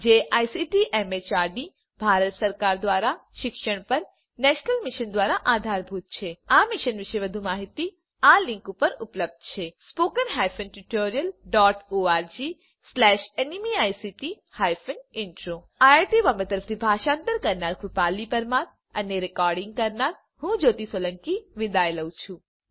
જે ICT MHRD Bharat સરકાર દ્વારા શિક્ષણ પર નેશનલ મિશન દ્વારા આધારભૂત છે આ મિશન વિશે વધુ માહીતી આ લીંક ઉપર ઉપલબ્ધ છે160 spoken hyphen tutorial dot org slash NMEICT hyphen intro IIT Bombay તરફથી ભાષાંતર કરનાર હું કૃપાલી પરમાર વિદાય લઉં છું